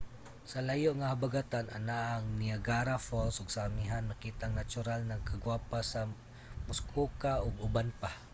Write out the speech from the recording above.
sa layo nga habagatan anaa ang niagara falls ug sa amihan makita ang natural na kagwapa sa muskoka ug uban pa